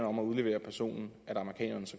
om at udlevere personen at amerikanerne